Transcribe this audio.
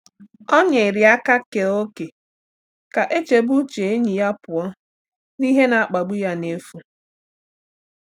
Ọ nyere aka kee ókè ka e chebe uche enyi ya pụọ n’ihe na-akpagbu ya n’efu.